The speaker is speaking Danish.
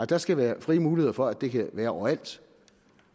der skal være frie muligheder for at det kan være overalt